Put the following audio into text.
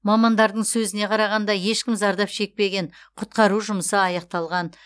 мамандардың сөзіне қарағанда ешкім зардап шекпеген құтқару жұмысы аяқталған